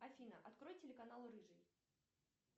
афина открой телеканал рыжий